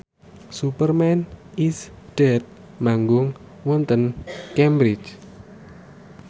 Superman is Dead manggung wonten Cambridge